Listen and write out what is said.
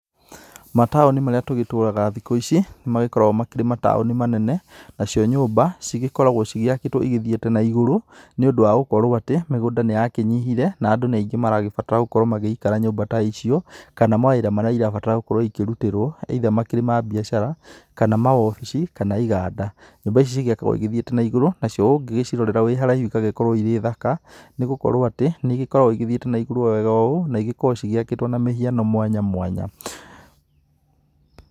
Mataũni marĩa tũgĩtũraga thiku ĩcĩ, nĩmakoragwo makĩrĩ mataũni manene, nacio nyũmba cĩkoragwo cĩakitwo ithiĩte na ĩgũrũ nĩũndũ wa gũkorwo atĩ mĩgũnda nĩyakĩnyihire na andũ nĩ aingĩ marabatara gũkorwo magĩikara nyumba ta icio kana mawĩra marĩa ĩrabatara gũkorwo ĩkĩrutĩrwo either makĩrĩ ma biacara kana maobici kana iganda. Nyũmba ici cigĩakagwo igĩthiĩte na ĩgũrũ, nacio ũngĩciĩrorera wĩ haraĩhu igagĩkoragwo ĩrĩ thaka, nĩgũkorwo atĩ nĩigĩkoragwo ithiĩte na igũrũ wega ũũ na igĩkoragwo cia kĩtwo na mĩhiano mwanya mwanya.